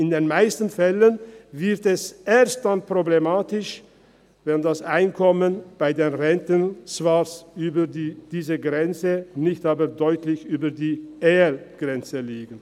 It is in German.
In den meisten Fällen wird es erst dann problematisch, wenn das Einkommen bei der Rente zwar über dieser Grenze liegt, nicht aber deutlich über der Ergänzungsleistungsgrenze.